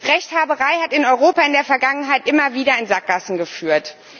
Rechthaberei hat in Europa in der Vergangenheit immer wieder in Sackgassen geführt.